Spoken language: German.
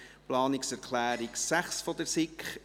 Planungserklärung 6, SiK: